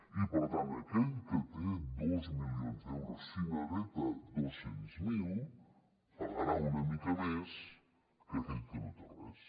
i per tant aquell que té dos milions d’euros si n’hereta dos cents miler pagarà una mica més que aquell que no té res